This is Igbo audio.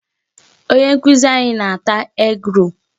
Onye nkụzi anyị na-ata egg-roll.